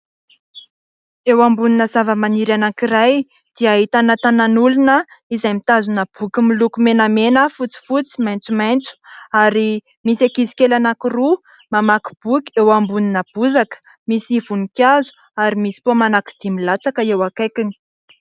Eo ambonina zavamaniry anankiray dia ahitana tananan'olona izay mitazona boky miloko menamena, fotsifotsy, maitsomaitso ary misy ankizikely anankiroa mamaky boky eo ambonina bozaka, misy voninkazo ary misy paoma anankidimy milatsaka eo akaikiny